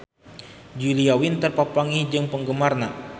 Julia Winter papanggih jeung penggemarna